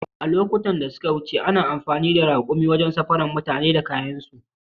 A lokutan da suka wuce ana amfani da raƙuma wajen safarar mutane da kayayyakinsu